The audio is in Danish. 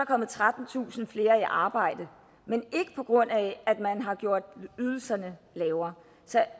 kommet trettentusind flere i arbejde men ikke på grund af at man har gjort ydelserne lavere så